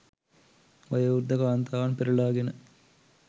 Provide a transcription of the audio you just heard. වයෝවෘද්ධ කාන්තාවන් පෙරලාගෙන